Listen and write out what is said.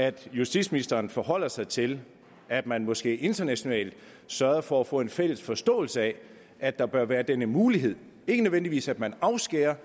at justitsministeren forholder sig til at man måske internationalt sørger for at få en fælles forståelse af at der bør være denne mulighed ikke nødvendigvis sådan at man afskærer